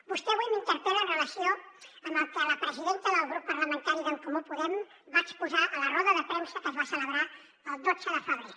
vostè avui m’interpel·la en relació amb el que la presidenta del grup parlamentari d’en comú podem va exposar a la roda de premsa que es va celebrar el dotze de febrer